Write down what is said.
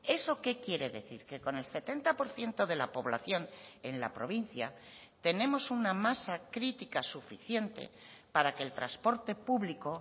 eso qué quiere decir que con el setenta por ciento de la población en la provincia tenemos una masa crítica suficiente para que el transporte público